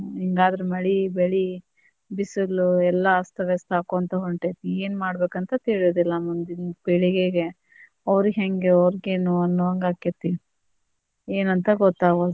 ಹಿಂಗಾದ್ರ ಮಳಿ ಬೆಳಿ ಬಿಸಿಲು ಎಲ್ಲಾ ಅಸ್ತ ವ್ಯಸ್ತ ಆಕ್ಕೊಂತ ಹೊಂಟೇತಿ ಏನ ಮಾಡ್ಬೇಕ್ ಅಂತ ತಿಳಿಯುದಿಲ್ಲ ಮುಂದಿನ ಪೀಳಿಗೆಗೆ ಅವ್ರಿಗೇ ಹೆಂಗೆ ಅವ್ರಿಗೇನು ಅನ್ನೂ ಹಂಗ ಆಕ್ಕೆತಿ ಏನಂತ ಗೊತ್ತಾಗವಲ್ದು.